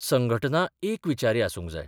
संघटना एक विचारी आसूंक जाय.